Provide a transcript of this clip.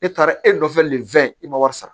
E taara e nɔfɛ nin fɛn i ma wari sara